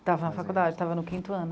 Estava na faculdade, estava no quinto ano.